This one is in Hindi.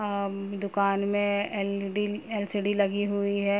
अम्म दुकान में एल.डी. एल.सी.डी. लगी हुई है।